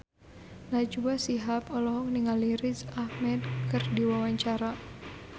Najwa Shihab olohok ningali Riz Ahmed keur diwawancara